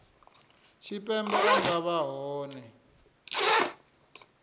tshipembe a nga vha hone